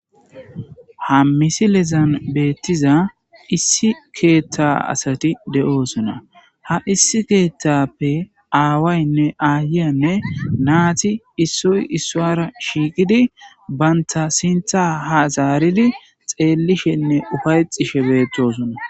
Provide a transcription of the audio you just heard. Ha misilezan beettiza issi keeththa asati de'oosona ha issi keetthappe aawaynne aayiyanne naati issoy issuara shiikidi banta sintha ha saaridi xeellishenne ufaytishe beettosona.